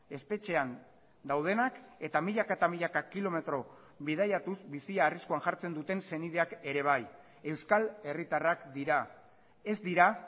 espetxean daudenak eta milaka eta milaka kilometro bidaiatuz bizia arriskuan jartzen duten senideak ere bai euskal herritarrak dira ez dira